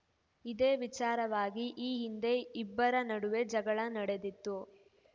ಇದೇ ವಿಚಾರವಾಗಿ ಈ ಹಿಂದೆ ಇಬ್ಬರ ನಡುವೆ ಜಗಳ ನಡೆದಿತ್ತು